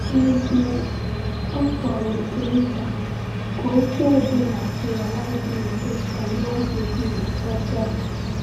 N’ezie, ọ fọrọ nke nta ka okwu ọ bụla ghara ịdị mfe ka nwa bebi ghọta!